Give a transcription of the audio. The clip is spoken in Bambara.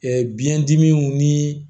biyɛndimiw ni